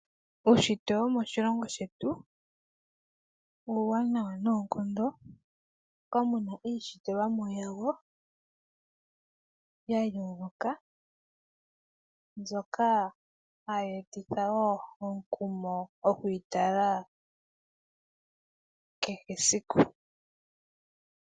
Uushitwe womo shilongo shetu , uuwanawa noonkondo, moka muna iishitilwamo ya yoloka, ndjoka ha yeetitha omukumo okwiitala kehe siku.